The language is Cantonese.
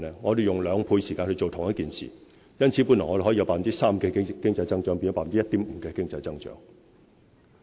我們用兩倍時間做同一件事，因此，我們本來可以有 3% 的經濟增長，亦變成 1.5% 的經濟增長。